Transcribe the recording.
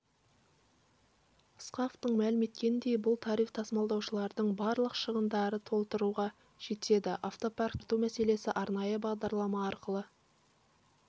ысқақовтың мәлім еткеніндей бұл тариф тасымалдаушылардың барлық шығындарын толтыруға жетеді автопаркті жаңарту мәселесі арнайы бағдарлама арқылы